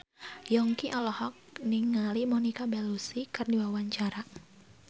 Yongki olohok ningali Monica Belluci keur diwawancara